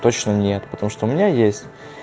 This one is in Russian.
точно нет потому что у меня есть